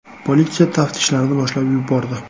Politsiya taftishlarni boshlab yubordi.